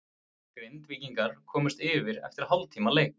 Grindvíkingar komust yfir eftir hálftíma leik.